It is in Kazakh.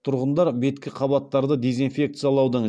тұрғындар беткі қабаттарды дезинфекциялаудың